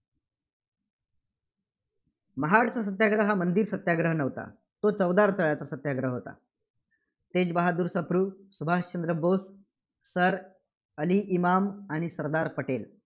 महाडचं सत्याग्रह मंदिर सत्याग्रह नव्हता. तो चवदार तळ्याचा सत्याग्रह होता. तेज बहाद्दूर सप्रू, सुभाषचंद्र बोस, सर अली इमाम आणि सरदार पटेल